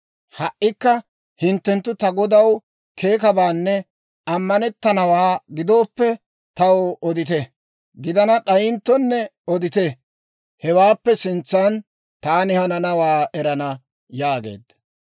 Ha"ikka hinttenttu ta godaw keekanabaanne ammanettanawaa gidooppe, taw odite; gidana d'ayinttonne odite; hewaappe sintsan taani hananawaa erana» yaageedda.